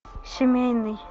семейный